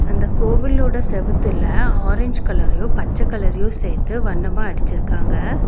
அந்தக் கோவிலோட செவுத்துல ஆரஞ்சு கலரையும் பச்ச கலரையும் சேத்து வண்ணமா அடிச்சுருக்காங்க.